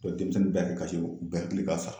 denmisɛnnin bɛɛ y'a kasi , u bɛ hakilla k'a sa la.